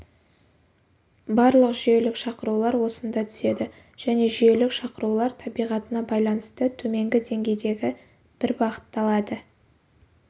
барлық жүйелік шақырулар осында түседі және жүйелік шақырулар табиғатына байланысты төменгі деңгейдегі бір бағытталады